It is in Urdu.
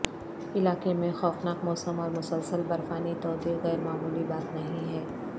علاقے میں خوفناک موسم اور مسلسل برفانی تودے غیر معمولی بات نہیں ہے